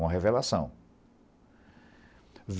Uma revelação.